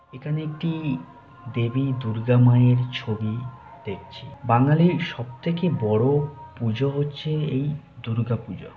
এখানে একটি দেবী দুর্গা মায়ের ছবি দেখছি। বাঙালির সবথেকে বড় পুজো হচ্ছে এই দুর্গাপুজো।